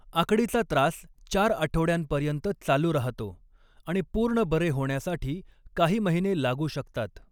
आकडीचा त्रास चार आठवड्यांपर्यंत चालू राहतो आणि पूर्ण बरे होण्यासाठी काही महिने लागू शकतात.